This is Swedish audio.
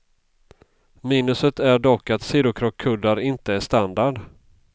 Minuset är dock att sidokrockkuddar inte är standard.